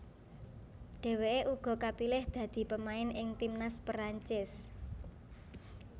Dheweke uga kapilih dadi pemain ing timnas Perancis